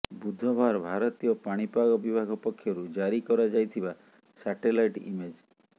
ବୁଧବାର ଭାରତୀୟ ପାଣିପାଗ ବିଭାଗ ପକ୍ଷରୁ ଜାରି କରାଯାଇଥିବା ସାଟେଲାଇଟ୍ ଇମେଜ୍